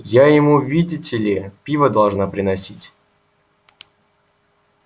я ему видите ли пиво должна приносить